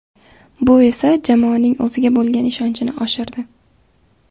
Bu esa jamoaning o‘ziga bo‘lgan ishonchini oshirdi.